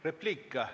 Repliik?